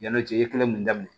Yanni o cɛ i ye kelen mun daminɛ